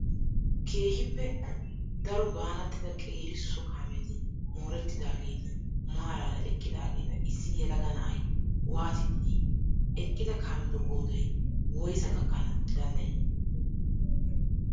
Keehippe daro baanattida qeeri so kaameti morettidageeti maaraara eqqidageta issi yelaga na''ayi waatiddi dii? Eqqida kaametu qoodayi woyisaa gakkana danddayii?